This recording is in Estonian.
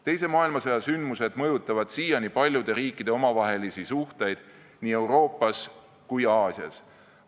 Teise maailmasõja sündmused mõjutavad siiani paljude riikide omavahelisi suhteid nii Euroopas kui ka Aasias.